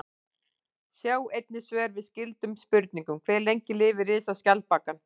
Sjá einnig svör við skyldum spurningum: Hve lengi lifir risaskjaldbakan?